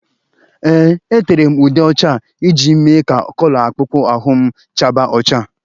Ee, etere m ude ọcha iji mee ka kọlọ akpụkpọ ahụ m chaba ọcha